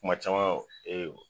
Kuma caman